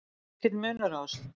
Er mikill munur á þessu?